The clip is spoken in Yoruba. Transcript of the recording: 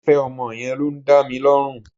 Ìfẹ́ ọmọ yẹn ló ń dá mi lọ́rùn